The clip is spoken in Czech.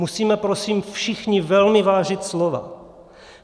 Musíme prosím všichni velmi vážit slova!